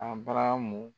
A baramu